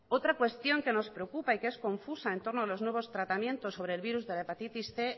otra cuestión que nos preocupa y que es confusa en torno a los nuevos tratamientos sobre el virus de la hepatitis cien